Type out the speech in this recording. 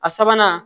A sabanan